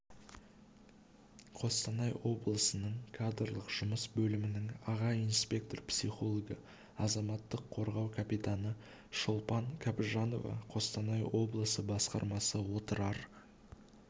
қостанай облысының кадрлық жұмыс бөлімінің аға инспектор-психологы азаматтық қорғау капитаны шолпан кабжанова қостанай облысы басқармасы отырар